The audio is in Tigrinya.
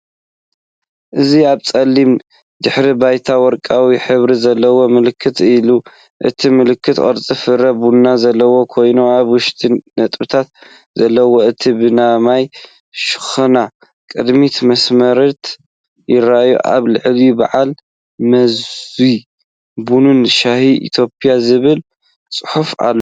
እዚ ኣብ ጸሊም ድሕረ ባይታ ወርቃዊ ሕብሪ ዘለዎ ምልክት ኣሎ። እቲ ምልክት ቅርጺ ፍረ ቡን ዘለዎ ኮይኑ፡ኣብ ውሽጡ ነጥቢ ዘለዎ እዩ፡ ብየማናይ ሸነኽ ቅድሚት መስመራት ይራኣዩ። ኣብ ላዕሊ "በዓል መዚ ቡንን ሻይን ኢትዮጵያ" ዝብል ፅሐፍ ኣሎ።